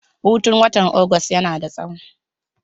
Hutun watan Agusta yana da tsawo.